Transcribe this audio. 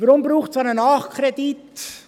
Warum braucht es einen Nachkredit?